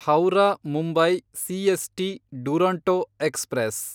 Howrah Mumbai CST Duronto express